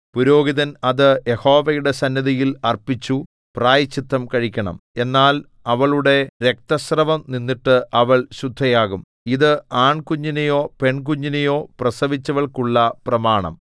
പുരോഹിതൻ അത് യഹോവയുടെ സന്നിധിയിൽ അർപ്പിച്ചു പ്രായശ്ചിത്തം കഴിക്കണം എന്നാൽ അവളുടെ രക്തസ്രവം നിന്നിട്ട് അവൾ ശുദ്ധയാകും ഇത് ആൺകുഞ്ഞിനെയോ പെൺകുഞ്ഞിനെയോ പ്രസവിച്ചവൾക്കുള്ള പ്രമാണം